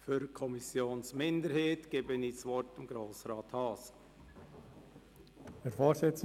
Für die Kommissionsminderheit hat Grossrat Haas das Wort.